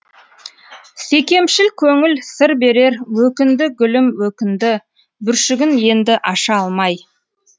секемшіл көңіл сыр берерөкінді гүлім өкінді бүршігін енді аша алмай